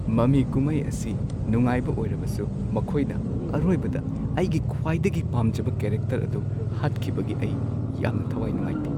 ꯃꯃꯤ ꯀꯨꯝꯍꯩ ꯑꯁꯤ ꯅꯨꯡꯉꯥꯏꯕ ꯑꯣꯏꯔꯕꯁꯨ ꯃꯈꯣꯏꯅ ꯑꯔꯣꯏꯕꯗ ꯑꯩꯒꯤ ꯈ꯭ꯋꯥꯏꯗꯒꯤ ꯄꯥꯝꯖꯕ ꯀꯦꯔꯦꯛꯇꯔ ꯑꯗꯨ ꯍꯥꯠꯈꯤꯕꯒꯤ ꯑꯩ ꯌꯥꯝꯅ ꯊꯋꯥꯏ ꯅꯨꯡꯉꯥꯏꯇꯦ꯫